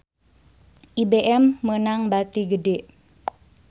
IBM meunang bati gede